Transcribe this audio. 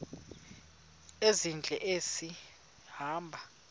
ezintle esi hamba